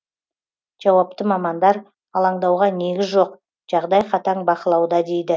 жауапты мамандар алаңдауға негіз жоқ жағдай қатаң бақылауда дейді